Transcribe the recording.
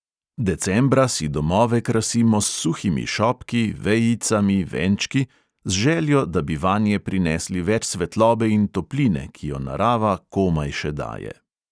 Decembra si domove krasimo s suhimi šopki, vejicami, venčki, z željo, da bi vanje prinesli več svetlobe in topline, ki jo narava komaj še daje.